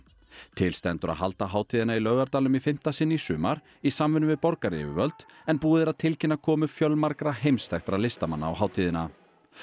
til stendur að halda hátíðina í Laugardalnum í fimmta sinn í sumar í samvinnu við borgaryfirvöld en búið er að tilkynna komu fjölmargra heimsþekktra listamanna á hátíðina